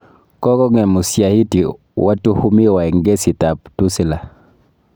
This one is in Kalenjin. Kogong'em usyahiti watuhumiwa eng kesiit ab Tulisa